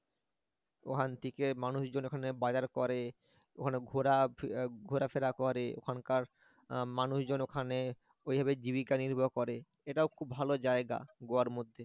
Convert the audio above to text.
ওখান থেকে মানুষ জন ওখানে বাজার করে ওখানে ঘোরা ঘোরাফেরা করে ওখানকার মানুষজন ওখানে ঐভাবে জীবিকা নির্বাহ করে এটা ও খুব ভালো জায়গা গোয়ার মধ্যে।